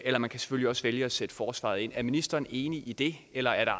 eller man kan selvfølgelig også vælge at sætte forsvaret ind er ministeren enig i det eller er der